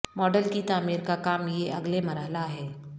model کی تعمیر کا کام یہ اگلے مرحلہ ہے